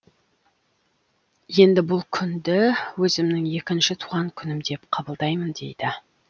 енді бұл күнді өзімнің екінші туған күнім деп қабылдаймын дейді